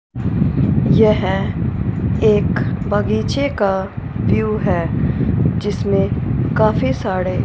यह एक बागीचे का व्यू है जिसमें काफी साड़े--